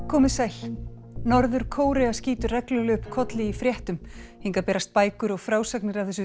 komið sæl norður Kórea skýtur reglulega upp kolli í fréttum hingað berast bækur og frásagnir af þessu